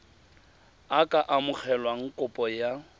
a ka amogela kopo ya